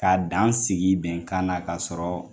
Ka dan sigi bɛnkan na ka sɔrɔ